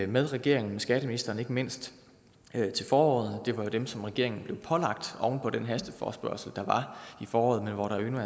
med regeringen skatteministeren ikke mindst til foråret det var jo dem som regeringen blev pålagt oven på den hasteforespørgsel der var i foråret men hvor der endnu